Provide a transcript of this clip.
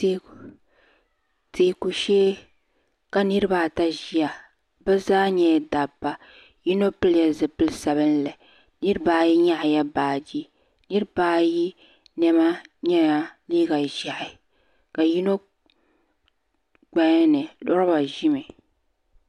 Teeku shee ka niriba ata ʒia bɛ zaa nyɛla dabba yino pili zipil'sabinli niriba ayi nyaɣala baaji niriba ayi niɛma nyɛla liiga ʒehi ka yino gbaya ni loba ʒimi.